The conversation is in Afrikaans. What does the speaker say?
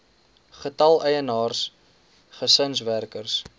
getal eienaars gesinswerkers